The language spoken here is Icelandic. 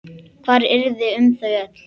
Hvað yrði um þau öll?